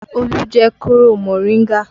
Olu jẹ kóro moringa